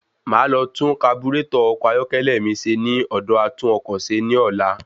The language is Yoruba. Máa lọ tun kaburàtọ̀ ọkọ̀ ayọ́kẹ́lẹ́ mi ṣe ní ọ̀dọ̀ atúnọkọ̀ṣe ní ọlá.